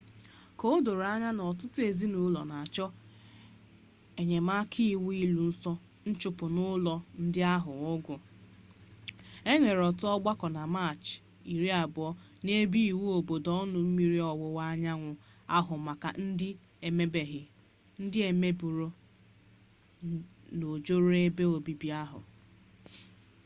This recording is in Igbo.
ka o doro anya na ọtụtụ ezinụlo na-achọ enyemaka iwu iluso nchụpụ n'ụlọ ndị ahụ ọgụ e nwere otu ọgbako na maachị 20 n'ebe iwu obodo ọnụ mmiri ọwụwa anyanwu ahụ maka ndị e megburu n'ojoro ebe obibi ahụ